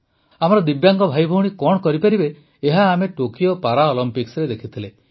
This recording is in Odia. ଆମର ଦିବ୍ୟାଙ୍ଗ ଭାଇଭଉଣୀ କଣ କରିପାରିବେ ଏହା ଆମେ ଟୋକିଓ ପାରାଅଲିମ୍ପିକ୍ସରେ ଦେଖିଥିଲେ